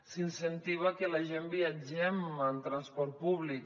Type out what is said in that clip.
s’incentiva que la gent viatgem en transport públic